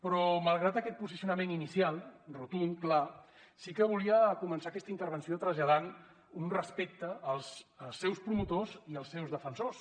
però malgrat aquest posicionament inicial rotund clar sí que volia començar aquesta intervenció traslladant un respecte als seus promotors i als seus defensors